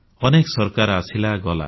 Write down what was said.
ଅନେକ ସରକାର ଆସିଲା ଗଲା